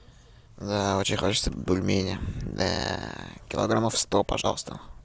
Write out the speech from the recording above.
очень хочется бульмени килограммов сто пожалуйста